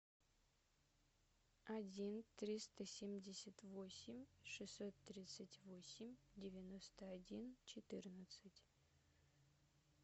один триста семьдесят восемь шестьсот тридцать восемь девяносто один четырнадцать